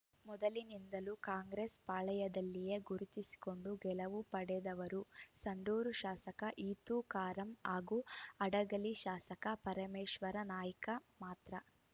ಮೊದಲಿನಿಂದಲೂ ಕಾಂಗ್ರೆಸ್‌ ಪಾಳಯದಲ್ಲಿಯೇ ಗುರುತಿಸಿಕೊಂಡು ಗೆಲುವು ಪಡೆದವರು ಸಂಡೂರು ಶಾಸಕ ಇತು ಕಾರಾಂ ಹಾಗೂ ಹಡಗಲಿ ಶಾಸಕ ಪರಮೇಶ್ವರ ನಾಯ್ಕ ಮಾತ್ರ